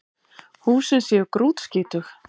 Húsin séu grútskítug